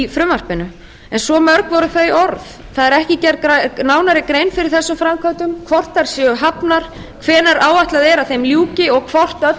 frumvarpinu en svo mörg voru þau orð það er ekki gerð nánari grein fyrir þessum framkvæmdum hvort þær séu hafnar hvenær áætlað er að þeim ljúki og hvort öll